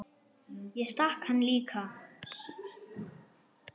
Ég stakk hann líka.